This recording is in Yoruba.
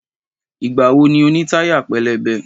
Ìgbà wo ni o ní táyà pẹlẹbẹ?